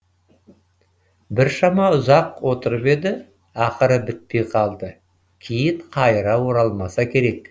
біршама ұзақ отырып еді ақыры бітпей қалды кейін қайыра оралмаса керек